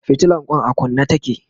fitilan Kwan a kunne take